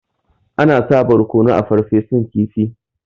Ana sa barkono a Farfesun kifi.